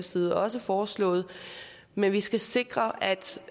side også foreslået men vi skal sikre at